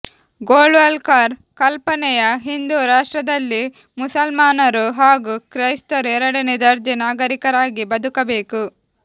ಗೋಳ್ವಾಲ್ಕರ್ ಕಲ್ಪನೆಯ ಹಿಂದೂರಾಷ್ಟ್ರದಲ್ಲಿ ಮುಸಲ್ಮಾನರು ಹಾಗೂ ಕ್ರೈಸ್ತರು ಎರಡನೆ ದರ್ಜೆ ನಾಗರಿಕರಾಗಿ ಬದುಕಬೇಕು